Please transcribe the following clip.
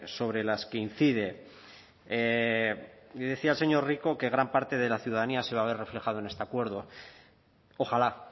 sobre las que incide decía el señor rico que gran parte de la ciudadanía se va a ver reflejada en este acuerdo ojalá